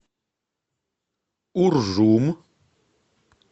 уржум